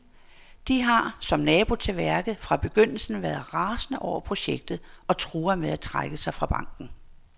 De har, som nabo til værket, fra begyndelsen været rasende over projektet og truer med at trække sig fra banken.